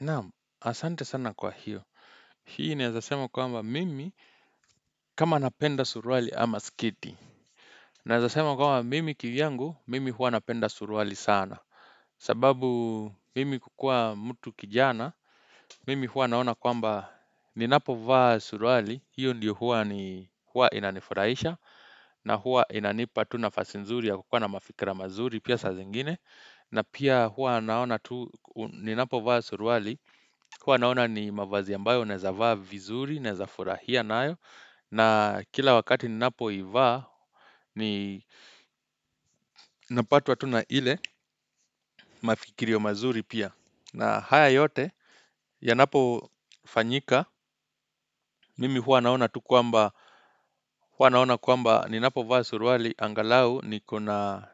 Naam, asante sana kwa hiyo. Hii naezasema kwamba mimi, kama napenda suruali ama sketi. Naezasema kwamba mimi kivyangu, mimi huwa napenda suruali sana. Sababu mimi kukua mtu kijana, mimi huqa naona kwamba ni napovaa suruali, hiyo ndiyo huwa inanifurahisha, na huwa inanipa tu nafasi nzuri ya kukua na mafikra mazuri pia saa zengine. Na pia huwa naona tu, ninapovaa suruali, huwa naona ni mavazi ambayo unaeza vaa vizuri, naeza furahia nayo. Na kila wakati ninapoivaa, ninapatwa tu na ile mafikirio mazuri pia. Na haya yote, yanapofanyika, mimi huwa naona tu kwamba, huwa naona kwamba ni napovaa suruali, angalau nikona,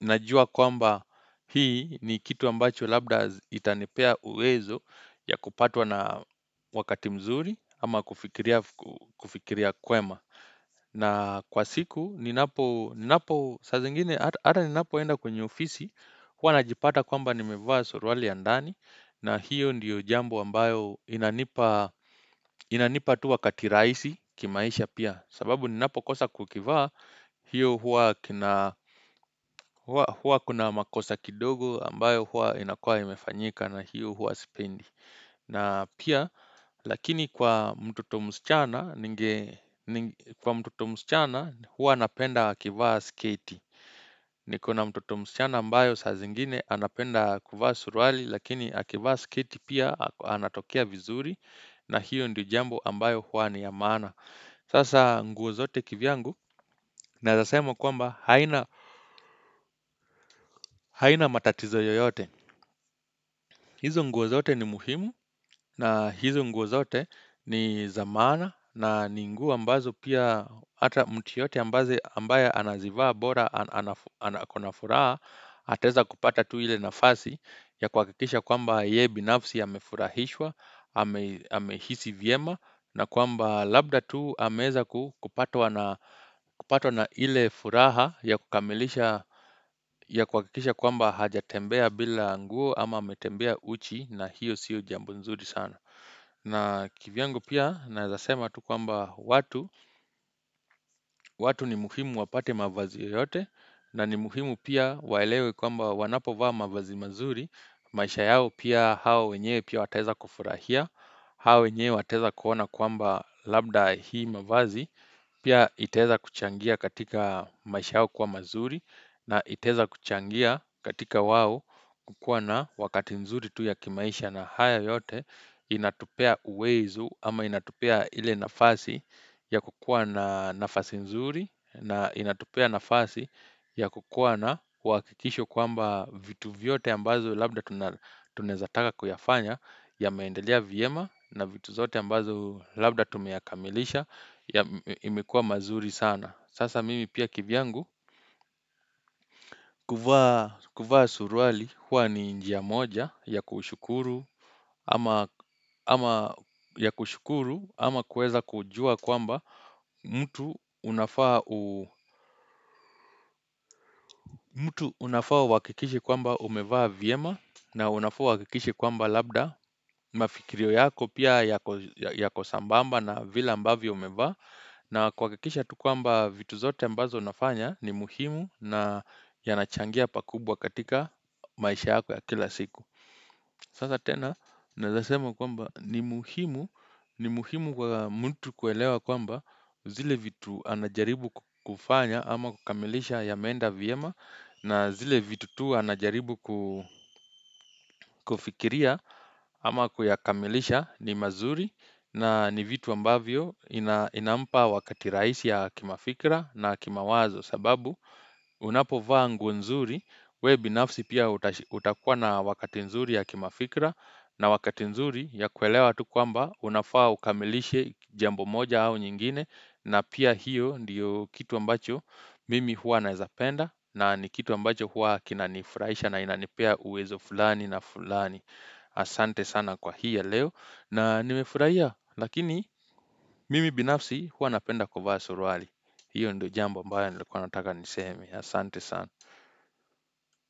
najua kwamba hii ni kitu ambacho labda itanipea uwezo ya kupatwa na wakati mzuri ama kufikiria kwema. Na kwa siku ninapo saa zingine ata ninapoenda kwenye ofisi huwa najipata kwamba nimevaa suruali ya ndani na hiyo ndiyo jambo ambayo inanipa tu wakati rahisi kimaisha pia sababu ninapo kosa kukivaa hiyo huwa huwa kuna makosa kidogo ambayo huwa inakua imefanyika na hiyo huwa sipendi, na pia, lakini kwa mtoto msichana huwa napenda akivaa sketi Nikona mtoto msichana ambayo saa zingine anapenda kuvaa suruali lakini akivaa sketi pia anatokea vizuri na hiyo ndio jambo ambayo huwa ni ya maana Sasa nguo zote kivyangu naeza sema kwamba haina haina matatizo yoyote, hizo nguo zote ni muhimu na hizo nguo zote ni za maana na ni nguo ambazo pia hata mtu yeyote ambayo anazivaa bora akona furaha ataeza kupata tu ile nafasi ya kuhakikisha kwamba yeye binafsi amefurahishwa, amehisi vyema na kwamba labda tu ameweza kupatwa na kupatwa na ile furaha ya kukamilisha ya kuhakikisha kwamba hajatembea bila nguo ama ametembea uchi, na hiyo siyo jambo nzuri sana na kivyangu pia naeza sema tu kwamba watu watu ni muhimu wapate mavazi yoyote na ni muhimu pia waelewe kwamba wanapovaa mavazi mazuri, maisha yao pia hao wenyewe pia wataweza kufurahia au wenyewe wataeza kuona kwamba labda hii mavazi Pia itaeza kuchangia katika maisha yao kuwa mazuri na itaeza kuchangia katika wao kuwa na wakati mnzuri tu ya kimaisha na haya yote inatupea uwezo ama inatupea ile nafasi ya kukua na nafasi nzuri na inatupea nafasi ya kukua na wahakikisho kwamba vitu vyote ambazo labda tunaezataka kuyafanya yameendelea vyema na vitu zote ambazo labda tumeyakamilisha imekua mazuri sana. Sasa mimi pia kivyangu kuvaa suruali huwa ni njia moja ya kushukuru ama kuweza kujua kwamba mtu unafaa uhakikishe kwamba umevaa vyema na unafaa uhakikishe kwamba labda mafikirio yako pia yako sambamba na vile ambavyo umevaa. Na kuhakikisha tu kwamba vitu zote ambazo unafanya ni muhimu na yanachangia pakubwa katika maisha yako ya kila siku Sasa tena naezasema kwamba ni muhimu, ni muhimu kwa mtu kuelewa kwamba zile vitu anajaribu kufanya ama kukamilisha yameenda vyema na zile vitu tu anajaribu ku kufikiria ama kuyakamilisha ni mazuri na ni vitu ambavyo inampa wakati rahisi ya kimafikra na kimawazo sababu unapovaa nguo nzuri wewe binafsi pia utakua na wakati nzuri ya kimafikra na wakati nzuri ya kuelewa tu kwamba unafaa ukamilishe jambo moja au nyingine na pia hiyo ndiyo kitu ambacho mimi huwa naezapenda na ni kitu ambacho huwa kinanifurahisha na inanepea uwezo fulani na fulani Asante sana kwa hii ya leo na nimefurahia lakini mimi binafsi huwa napenda kuvaa suruali. Hiyo ndio jambo ambayo nilikuwa nataka niseme. Asante sana.